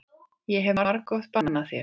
Ég hef margoft bannað þér.